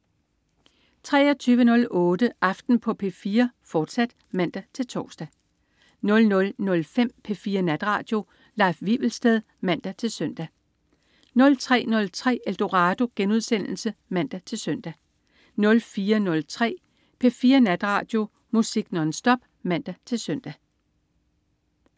23.08 Aften på P4, fortsat (man-tors) 00.05 P4 Natradio. Leif Wivelsted (man-søn) 03.03 Eldorado* (man-søn) 04.03 P4 Natradio. Musik nonstop (man-søn)